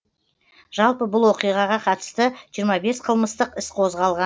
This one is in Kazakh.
жалпы бұл оқиғаға қатысты қылмыстық іс қозғалған